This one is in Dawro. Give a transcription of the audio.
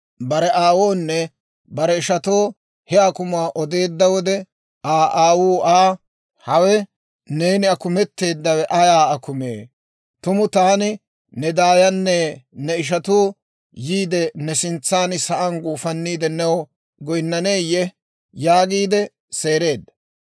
Bare aawoonne bare ishatoo he akumuwaa odeedda wode, Aa aawuu Aa, «Hawe neeni akumeteedawe ayaa akumee? Tumu taani, ne daayanne ne ishatuu yiide, ne sintsaan sa'aan guufaniide new goynnaneyye?» yaagiide seereedda.